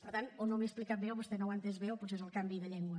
per tant o no m’he explicat bé o vostè no ho ha entès bé o potser és el canvi de llengua